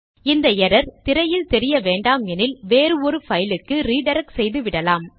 இந்த எரர் திரையில் தெரிய வேண்டாமெனில் வேறு ஒரு பைலுக்கு ரிடிரக்ட் செய்துவிடலாம்